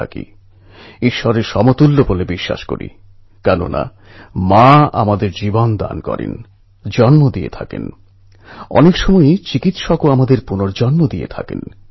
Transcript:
কিন্তু নূতন বন্ধু নির্বাচন বন্ধুত্ব করা এবং চালিয়ে যাওয়া খুবই বুঝেশুনে করা দরকার